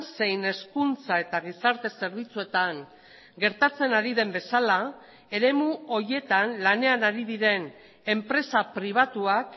zein hezkuntza eta gizarte zerbitzuetan gertatzen ari den bezala eremu horietan lanean ari diren enpresa pribatuak